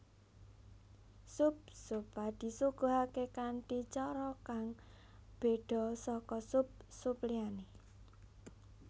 Sup zuppa disuguhake kanthi cara kang bedha saka sup sup liyane